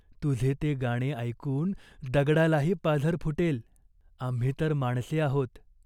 तुझे ते गाणे ऐकून दगडालाही पाझर फुटेल. आम्ही तर माणसे आहोत.